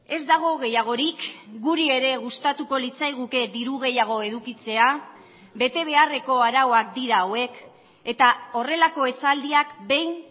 ez dago gehiagorik guri ere gustatuko litzaiguke diru gehiago edukitzea bete beharreko arauak dira hauek eta horrelako esaldiak behin